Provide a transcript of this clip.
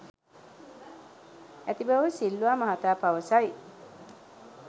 ඇති බව සිල්වා මහතා පවසයි.